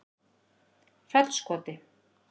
Fellskoti